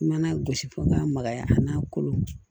I mana gosi fo n ka magaya a la kolo